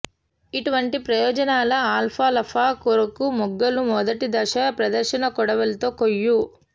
ఇటువంటి ప్రయోజనాల అల్ఫాల్ఫా కొరకు మొగ్గలు మొదటి దశ ప్రదర్శన కొడవలితో కోయు